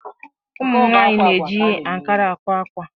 Ụmụnwaanyị na-eji ankara àkwá ákwà